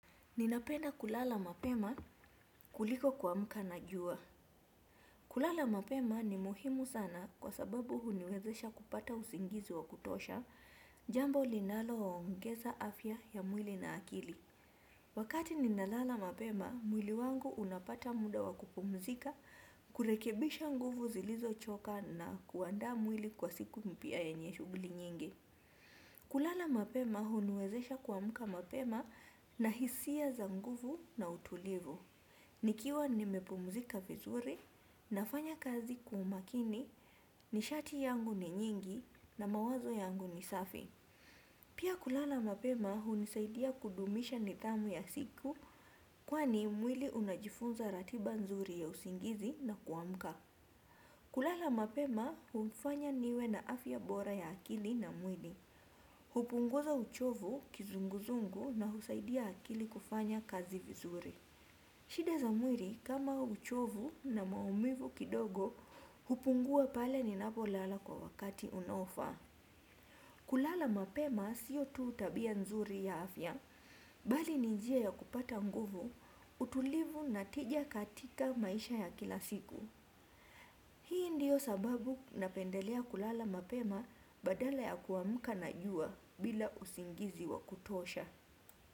Ninapenda kulala mapema kuliko kuamka na jua. Kulala mapema ni muhimu sana kwa sababu huniwezesha kupata usingizi wa kutosha, jambo linaloongeza afya ya mwili na akili. Wakati ninalala mapema, mwili wangu unapata muda wa kupumzika, kurekebisha nguvu zilizochoka na kuandaa mwili kwa siku mpya yenye shughuli nyingi. Kulala mapema huniwezesha kuamka mapema na hisia za nguvu na utulivu. Nikiwa nimepumzika vizuri nafanya kazi kwa umakini, nishati yangu ni nyingi na mawazo yangu ni safi. Pia kulala mapema hunisaidia kudumisha nidhamu ya siku, kwani mwili unajifunza ratiba nzuri ya usingizi na kuamka. Kulala mapema hunifanya niwe na afya bora ya akili na mwili. Hupunguza uchovu, kizunguzungu na husaidia akili kufanya kazi vizuri. Shida za mwili kama uchovu na maumivu kidogo hupungua pale ninapolala kwa wakati unaofaa. Kulala mapema sio tu tabia nzuri ya afya. Bali ni njia ya kupata nguvu, utulivu na tija katika maisha ya kila siku. Hii ndio sababu napendelea kulala mapema badala ya kuamka na jua, bila usingizi wa kutosha.